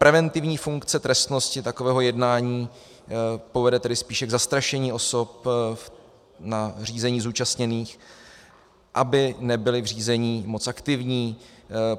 Preventivní funkce trestnosti takového jednání povede tedy spíše k zastrašení osob na řízení zúčastněných, aby nebyly v řízení moc aktivní.